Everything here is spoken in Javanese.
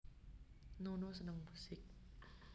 Nono seneng musik